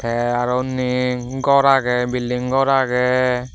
te aro undi gor age building ghor age.